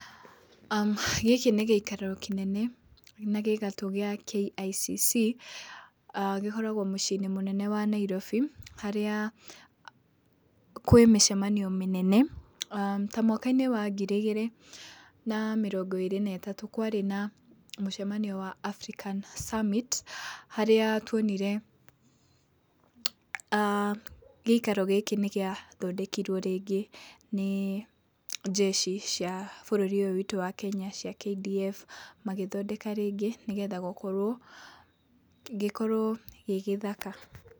Gĩkĩ nĩ gĩikaro kĩnene na gĩ gatũ gĩa KICC. Gĩkoragwo mũciĩ-inĩ mũnene wa Nairobi harĩa kwĩ mĩcemanio mĩnene, ta mwaka -inĩ wa ngiri igĩrĩ na mĩrongo ĩrĩ na ĩtatũ kwarĩ na mũcemanio wa African Summit harĩa tuonire gĩikaro gĩkĩ nĩ gĩathondekirwo rĩngĩ nĩ njeci cia bũrũri ũyũ witũ wa Kenya cia KDF, magĩthondeka rĩngĩ nĩgetha gĩkorwo gĩ gĩthaka.